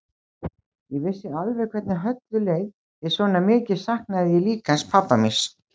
Ég vissi alveg hvernig Höllu leið því svona mikið saknaði ég líka hans pabba míns.